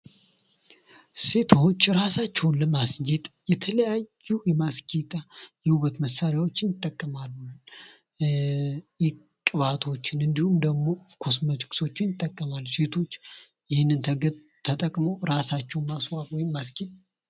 ሴቶች ራሳቸዉን ለማስጌጥ የተለያዩ የማስጌጫ የዉበት መሳሪያዎችን ይጠቀማሉ። ቅባቶችን እንዲሁም ደግሞ ኮስሞቲክሶችን ይጠቀማሉ። ሴቶች ይህንን ተጠቅመዉ ራሳቸዉን ማስዋብ ወይም ማስጌጥ ይችላሉ።